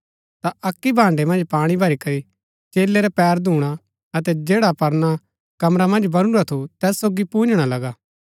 ता अक्की भान्डै मन्ज पाणी भरी करी चेलै रै पैर धूणा अतै जैडा परना कमरा मन्ज बनुरा थू तैत सोगी पून्जणा लगा